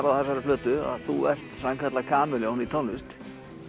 á þessari plötu að þú er sannkallað kamelljón í tónlist